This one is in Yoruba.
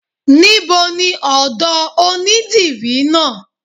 Níboni ọ̀dọ̀ onídìrí náà?